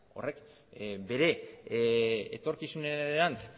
horrek bere etorkizunerantz